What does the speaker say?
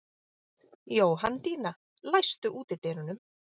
Jóhanndína, læstu útidyrunum.